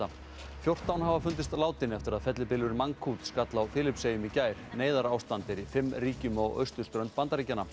fjórtán hafa fundist látin eftir að fellibylurinn skall á Filippseyjum í gær neyðarástand er í fimm ríkjum á Austurströnd Bandaríkjanna